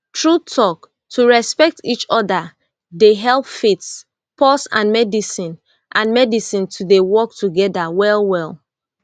true talk to respect each other dey help faith pause and medicine and medicine to dey work together well well